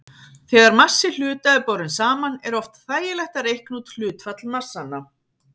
Þegar massi hluta er borinn saman er oft þægilegt að reikna út hlutfall massanna.